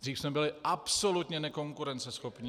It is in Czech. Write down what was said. Dříve jsme byli absolutně nekonkurenceschopní.